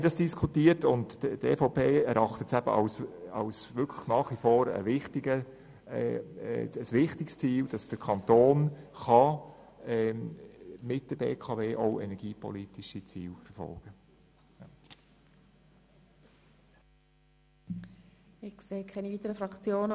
Und die EVP erachtet es nach wie vor als wichtiges Ziel, dass der Kanton mit der BKW auch energiepolitische Ziele verfolgen kann.